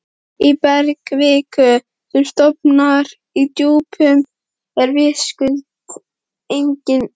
Í bergkviku, sem storknar í djúpinu, eru vitaskuld einnig gosgufur.